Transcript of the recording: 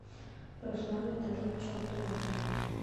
руслану витальевичу абдуллаеву